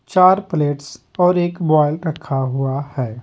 चार प्लेट्स और एक बॉइल रखा हुआ है।